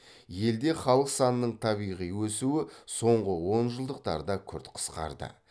елде халық санының табиғи өсуі соңғы онжылдықтарда күрт қысқарды